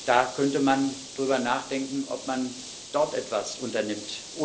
Da könnte man darüber nachdenken, ob man dort etwas unternimmt.